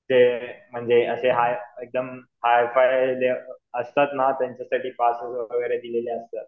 ते म्हणजे असे एकदम हायफाय असतात ना त्यांच्यासाठी पासेस वगैरे दिलेले असतात.